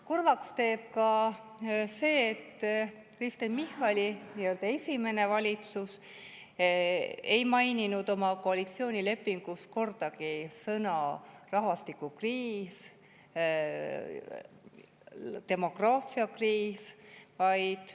Kurvaks teeb ka see, et Kristen Michali esimene valitsus ei maininud oma koalitsioonilepingus kordagi sõnu "rahvastikukriis", "demograafiakriis".